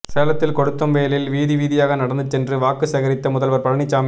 சேலத்தில் கொளுத்தும் வெயிலில் வீதி வீதியாக நடந்து சென்று வாக்கு சேகரித்த முதல்வர் பழனிசாமி